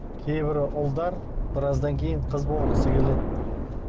кейбір ұлдар біраздан кейін қыз болғысы келеді